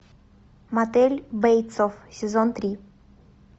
мотель бейтсов сезон три